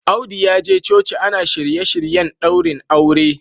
Audu ya je coci ana shirye-shiryen daurin aure